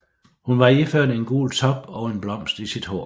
Hun var iført en gul top og en blomst i sit hår